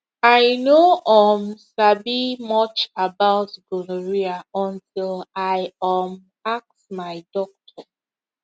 i no um sabi much about gonorrhea until i um ask my doctor